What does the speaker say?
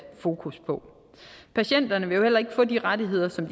fokus på patienterne vil jo heller ikke få de rettigheder som